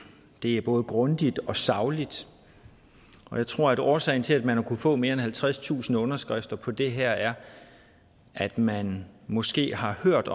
det er både grundigt og sagligt og jeg tror at årsagen til at man har kunnet få mere end halvtredstusind underskrifter på det her er at man måske har hørt